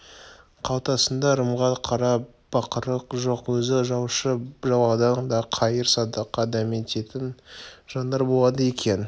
қалтасында ырымға қара бақыры жоқ өзі жалшы баладан да қайыр-садақа дәмететін жандар болады екен